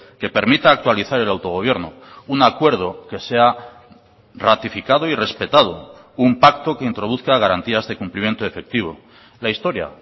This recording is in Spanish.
que permita actualizar el autogobierno un acuerdo que sea ratificado y respetado un pacto que introduzca garantías de cumplimiento efectivo la historia